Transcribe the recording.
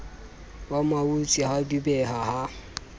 wa mautse ha dubeha ha